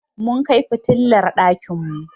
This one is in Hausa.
Mun kai fitilar ɗakin mu.